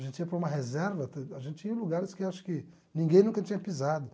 A gente ia para uma reserva, a gente ia em lugares que acho que ninguém nunca tinha pisado.